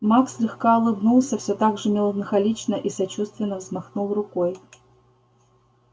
маг слегка улыбнулся всё так же меланхолично и сочувственно взмахнул рукой